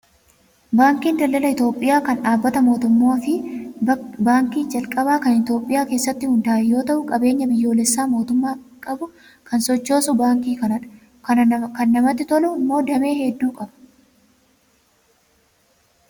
Baankiin daldala Itoophiyaa kan dhaabbata mootummaa fi baankii calqabaa kan Itoophiyaa keessatti hundaa'e yoo ta'u qabeenya biyyoolessaa mootummaan qabu kan sochoosu baankii kanadha. Kan namatti tolu immoo damee hedduu qaba